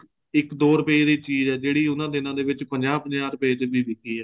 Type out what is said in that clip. ਇੱਕ ਦੋ ਰੁਪਏ ਦੀ ਚੀਜ਼ ਏ ਜਿਹੜੀ ਉਹਨਾ ਦਿਨਾ ਦੇ ਵਿੱਚ ਪੰਜਾਹ ਪੰਜਾਹ ਰੁਪਏ ਚ ਵੀ ਵਿਕੀ ਏ